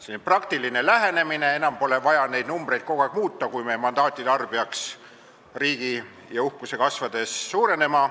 See on praktiline lähenemine, et enam poleks vaja kogu aeg muuta neid numbreid, kui meie mandaatide arv peaks riigi ja uhkuse kasvades suurenema.